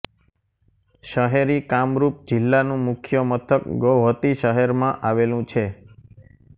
શહેરી કામરુપ જિલ્લાનું મુખ્ય મથક ગૌહત્તી શહેરમાં આવેલું છે